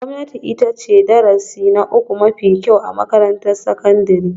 Gwamnati ita ce darasi na uku mafi kyau a makarantar sakandare